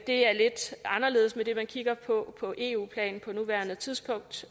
er lidt anderledes med det man kigger på på eu plan på nuværende tidspunkt